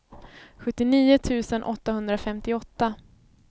sjuttionio tusen åttahundrafemtioåtta